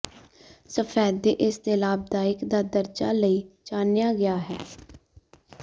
ਸਫੈਦੇ ਇਸ ਦੇ ਲਾਭਦਾਇਕ ਦਾ ਦਰਜਾ ਲਈ ਜਾਣਿਆ ਗਿਆ ਹੈ